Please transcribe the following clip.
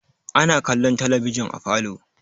Ana kallon talabijin a falo.